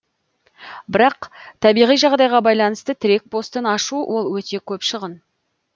бірақ табиғи жағдайға байланысты тірек постын ашу ол өте көп шығын